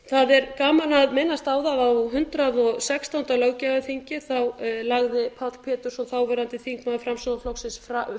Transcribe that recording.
það er gaman að minnast á það að á hundrað og sextándu löggjafarþingi lagði páll pétursson þáverandi þingmaður framsóknarflokksins